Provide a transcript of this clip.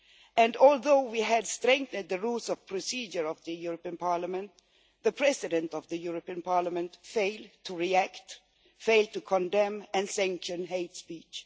And, although we have strengthened the Rules of Procedure of the European Parliament, the President of the European Parliament failed to react, failed to condemn and sanction hate speech.